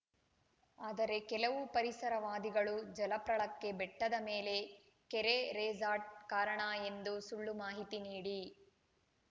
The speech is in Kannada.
ಆದರೆ ಕೆಲವು ಪರಿಸರವಾದಿಗಳು ಜಲಪ್ರಳಕ್ಕೆ ಬೆಟ್ಟದ ಮೇಲೆ ಕೆರೆ ರೇಸಾರ್ಟ್‌ ಕಾರಣ ಎಂದು ಸುಳ್ಳು ಮಾಹಿತಿ ನೀಡಿ